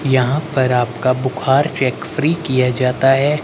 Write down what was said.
यहां पर आपका बुखार चेक फ्री किया जाता है।